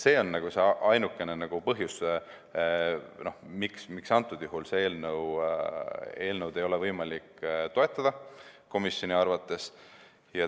See on ainuke põhjus, miks antud juhul seda eelnõu ei ole võimalik komisjoni arvates toetada.